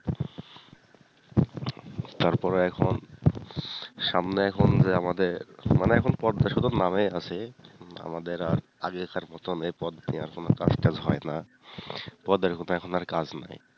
তারপরে এখন সামনে এখন যে আমাদের মানে এখন পদ টা শুধু নামেই আছে আমাদের আর আগেকার মতন এই পদের নিয়ে এখন আর কাজ টাজ হয়না পদের কোন কাজ নাই।